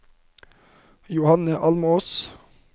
Johanne Almås